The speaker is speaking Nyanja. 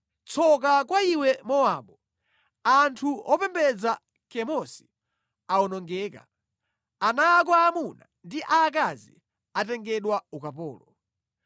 Tsoka kwa iwe Mowabu! Anthu opembedza Kemosi awonongeka. Ana ako aamuna ndi aakazi atengedwa ukapolo.